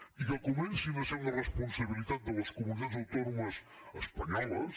i que comencin a ser una responsabilitat de les comunitats autònomes espanyoles